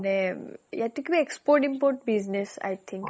মানে ইয়াতে কিবা export import business i think